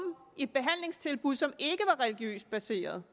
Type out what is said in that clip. i et behandlingstilbud som ikke var religiøst baseret